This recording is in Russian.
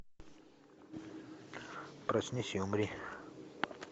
проснись и умри